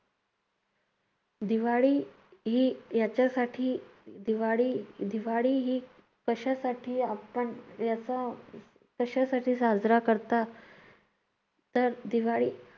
दिवाळी ही याच्यासाठी दिवाळी दिवाळी ही कशासाठी आपण याचा कशासाठी साजरा करतात? तर दिवाळी